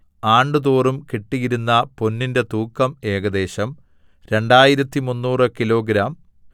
ആണ്ടുതോറും കിട്ടിയിരുന്ന പൊന്നിന്റെ തൂക്കം ഏകദേശം 2300 കിലോഗ്രാം